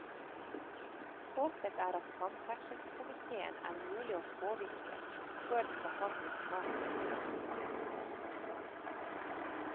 Håpet er at samferdselskomitéen er mulig å påvirke før den behandler saken om en uke.